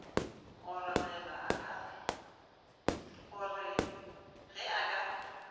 go re ge a ka